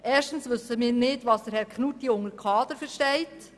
Erstens wissen wir nicht, was Herr Knutti genau unter Kader versteht.